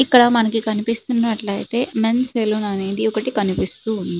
ఇక్కడ మనకి కనిపిస్తున్నట్లయితే మెన్స్ సెలూన్ అనేది ఒకటి కనిపిస్తుంది.